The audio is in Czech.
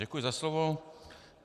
Děkuji za slovo.